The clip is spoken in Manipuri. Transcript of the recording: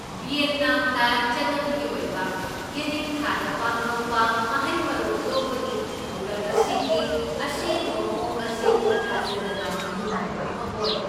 ꯚꯤꯌꯦꯠꯅꯥꯝꯗ ꯆꯠꯅꯕꯤꯒꯤ ꯑꯣꯏꯕ ꯌꯦꯅꯤꯡꯊꯥꯗ ꯄꯥꯡꯊꯣꯛꯄ ꯃꯍꯩ ꯃꯔꯣꯡ ꯂꯣꯛꯄꯒꯤ ꯊꯧꯔꯝ ꯑꯁꯤꯒꯤ ꯑꯁꯦꯡꯕ ꯃꯑꯣꯡ ꯑꯁꯤ ꯊꯥꯖꯗꯅ ꯅꯨꯡꯉꯥꯏꯕ ꯑꯃ ꯑꯣꯏ꯫